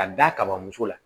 Ka da kaba muso la